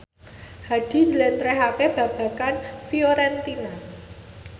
Hadi njlentrehake babagan Fiorentina